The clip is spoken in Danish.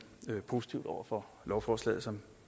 positive over for lovforslaget som